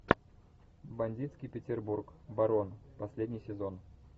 бандитский петербург барон последний сезон